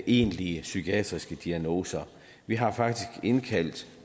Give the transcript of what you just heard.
egentlige psykiatriske diagnoser vi har faktisk indkaldt